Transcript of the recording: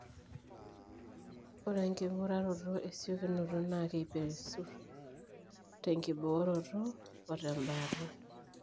Ore enking'uraroto esiokinoto naa keiperesut tenkibooroto otembaata.